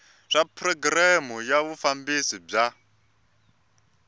swa programu ya vufambisi bya